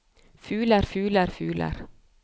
fugler fugler fugler